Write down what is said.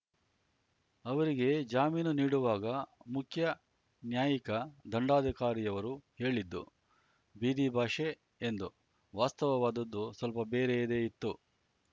ಅವರಿಗೆ ಜಾಮೀನು ನೀಡುವಾಗ ಮುಖ್ಯ ನ್ಯಾಯಿಕ ದಂಡಾಧಿಕಾರಿಯವರು ಹೇಳಿದ್ದು ಬೀದಿ ಭಾಷೆ ಎಂದು ವಾಸ್ತವವಾದದ್ದು ಸ್ವಲ್ಪ ಬೇರೆಯದೇ ಇತ್ತು